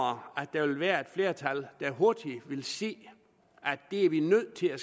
vil være et flertal der hurtigt vil se at det er vi nødt til at